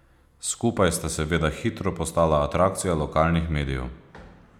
Skupaj sta seveda hitro postala atrakcija lokalnih medijev.